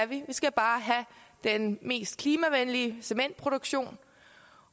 vi skal bare have den mest klimavenlige cementproduktion